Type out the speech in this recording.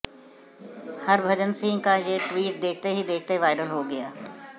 हरभजन सिंह का ये ट्वीट देखते ही देखते वायरल हो गया